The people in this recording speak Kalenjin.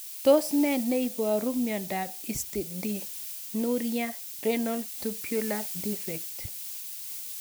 Tos ne neiparu miondop Histidinuria renal tubular defect?